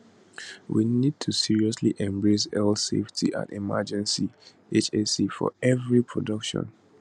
we need to seriously embrace health safety and emergency hse for evri production